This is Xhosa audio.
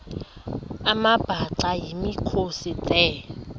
amabhaca yimikhosi the